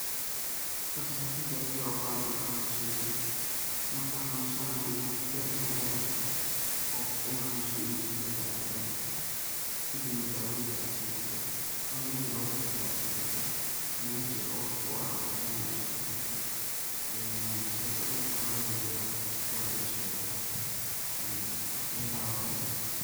Horta xifadaa kaliya aad u bahan tahay waxa waye sheygaan marku xanun sanaya inaad garan karto oo horta inu xanun sanyahay ama inu fiyoc yahay aad kala garan karto, kadib dawoyinka aad sin karto, cunida logu tala gale aad sin karto mejaa iyo waqtiga oraxda u baxan yahay aad uso bixin karto ee sidokale dhulkana waa lo nugleyaa oo waa lo jilciyaa Bakeyla waye.